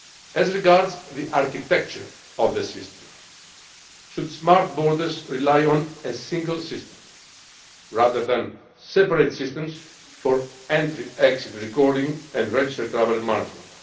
As regards the architecture of the system should smart borders rely on a single system rather than separate systems for entry exit recording and registered traveller management?